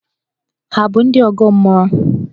Hà bụ ndị ọgọ mmụọ?